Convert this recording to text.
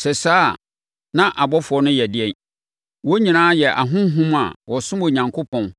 Sɛ saa a, na abɔfoɔ no yɛ dɛn? Wɔn nyinaa yɛ ahonhom a wɔsom Onyankopɔn na